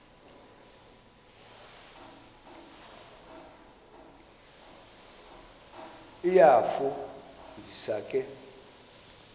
iyafu ndisa ke